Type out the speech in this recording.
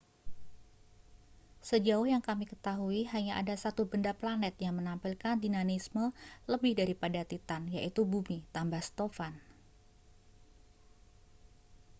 sejauh yang kami ketahui hanya ada satu benda planet yang menampilkan dinamisme lebih daripada titan yaitu bumi tambah stofan